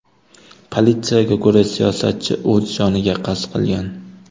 Politsiyaga ko‘ra, siyosatchi o‘z joniga qasd qilgan.